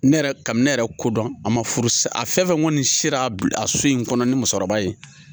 Ne yɛrɛ, ka b'i ne yɛrɛ ko dɔn, a ma furu a fɛn fɛn kɔni sera a so in kɔnɔ ni musokɔrɔba ye.